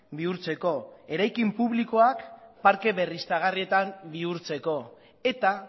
bihurtzeko eraikin publikoak parke berriztagarrietan bihurtzeko eta